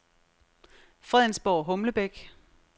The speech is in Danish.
Fredensborg-Humlebæk